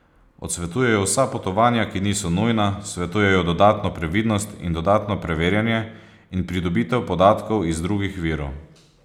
Odsvetujejo vsa potovanja, ki niso nujna, svetujejo dodatno previdnost in dodatno preverjanje in pridobitev podatkov iz drugih virov.